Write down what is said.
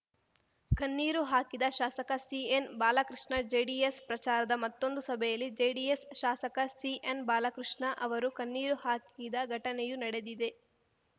ಕಣ್ಣೀರು ಹಾಕಿದ ಶಾಸಕ ಸಿಎನ್ ಬಾಲಕೃಷ್ಣ ಜೆಡಿಎಸ್ ಪ್ರಚಾರದ ಮತ್ತೊಂದು ಸಭೆಯಲ್ಲಿ ಜೆಡಿಎಸ್ ಶಾಸಕ ಸಿಎನ್ ಬಾಲಕೃಷ್ಣ ಅವರು ಕಣ್ಣೀರು ಹಾಕಿದ ಘಟನೆಯೂ ನಡೆದಿದೆ